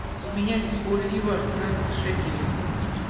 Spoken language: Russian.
поменять боливар на шекели